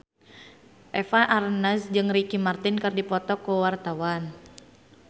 Eva Arnaz jeung Ricky Martin keur dipoto ku wartawan